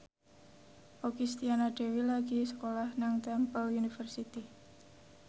Okky Setiana Dewi lagi sekolah nang Temple University